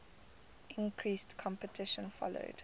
increased competition following